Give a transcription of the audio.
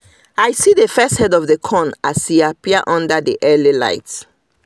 i see the first head of corn as e appear under the early light